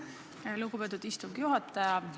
Aitäh, lugupeetud istungi juhataja!